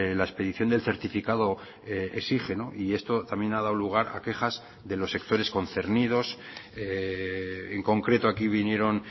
la expedición del certificado exige y esto también ha dado lugar a quejas de los sectores concernidos en concreto aquí vinieron